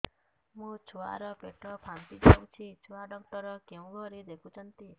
ମୋ ଛୁଆ ର ପେଟ ଫାମ୍ପି ଯାଉଛି ଛୁଆ ଡକ୍ଟର କେଉଁ ଘରେ ଦେଖୁ ଛନ୍ତି